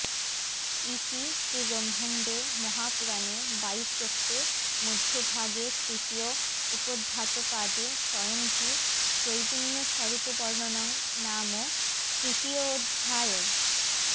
ইতি শ্রীব্রহ্মাণ্ডে মহাপুরাণে বায়ুপ্রোক্তে মধ্যভাগে তৃতীয় উপোদ্ধাতপাদে স্বয়ংভূত্রৈগুণ্যস্বরূপবর্ণনং নাম তৃতীয়োঽধ্যায়ঃ